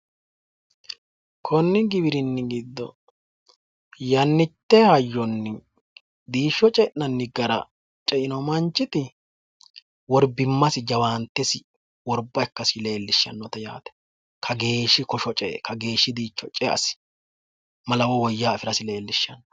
Konni giwirinni giddo yannitte hayyonni diishsho ce'nanni gara ce"ino manchiti worbimmasi jawaantesi worba ikkasi lellishshannote yaate kageeshshi kosho ce"e kageeshshi diishsho ce"asi malawo woyyaha afirasi leellishshanno.